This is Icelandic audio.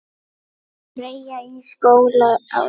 Freyja í skóla á daginn.